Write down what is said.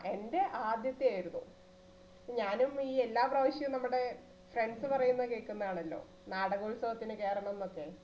എന്റെ ആദ്യത്തെ ആയിരുന്നു ഞാനും ഈ എല്ലാ പ്രവാശ്യും നമ്മടെ friends പറയുന്ന കേൾക്കുന്ന ആണല്ലോ നാടകോത്സവത്തിനു കേറണോന്നു ഒക്കെ